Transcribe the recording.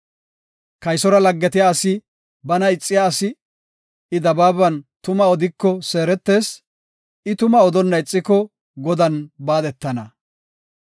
Kaysora laggetiya asi bana ixiya asi; I dabaaban tuma odiko seeretees; I tumaa odonna ixiko Godan baadetana.